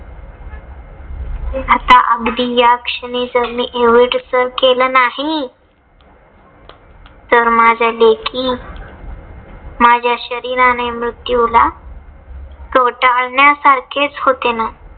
आता अगदी याक्षणी जर मी एव्हरेस्ट जर सर केलं नाही. तर माझ्या लेखी माझ्या शरीराने मृत्यूला कवटाळण्या सारखेच होते ना.